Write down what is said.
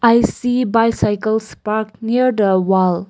i see bicycles parked near the wall.